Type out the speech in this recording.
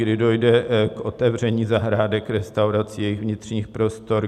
Kdy dojde k otevření zahrádek restaurací, jejich vnitřních prostor?